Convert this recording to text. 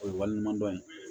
O ye walima dɔn ye